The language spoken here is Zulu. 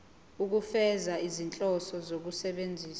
ukufeza izinhloso zokusebenzisa